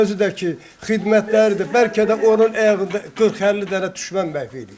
Özü də ki, xidmətləridir, bəlkə də onun ayağında 40-50 dənə düşmən məhv eləyib.